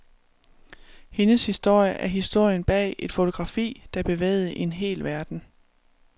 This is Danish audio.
Hendes historie er historien bag et fotografi, der bevægede en hel verden.